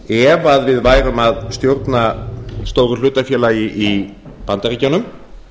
ef við værum að stjórna stóru hlutafélagi í bandaríkjunum